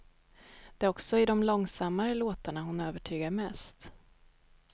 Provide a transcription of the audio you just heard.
Det är också i de långsammare låtarna hon övertygar mest.